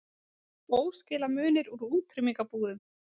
Óskilamunir úr útrýmingarbúðum